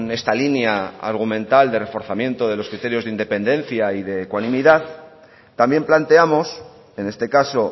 esta línea argumental de reforzamiento de los criterios de independencia y de ecuanimidad también planteamos en este caso